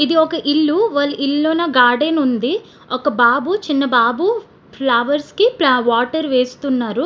ఇది ఒక ఇల్లు. వెళ్ళు ఇల్లోని గార్డెన్ ఉంది. ఒక బాబు చిన్న బాబు ఫ్లవర్స్ కి ప్ల ఆహ్ వాటర్ వేస్తున్నారు.